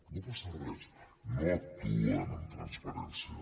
no passa res no actuen amb transparència